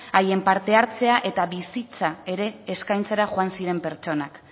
haien parte hartzea eta bizitza ere eskaintzera joan ziren pertsonak